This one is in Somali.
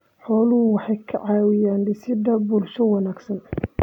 Xooluhu waxay ka caawiyaan dhisidda bulsho wanaagsan.